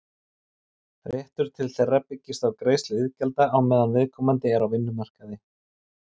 Réttur til þeirra byggist á greiðslu iðgjalda á meðan viðkomandi er á vinnumarkaði.